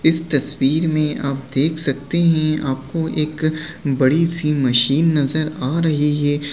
इस तस्वीर मे आप देख सकते है आपको एक बड़ी-सी मशीन नजर आ रही है।